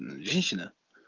э женщина